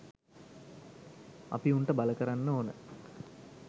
අපි උන්ට බල කරන්න ඕන